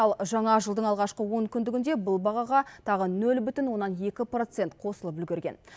ал жаңа жылдың алғашқы онкүндігінде бұл бағаға тағы нөл бүтін оннан екі процент қосылып үлгерген